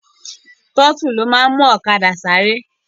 Tọ́tù ni ó máa n mú ọ̀kadà sáré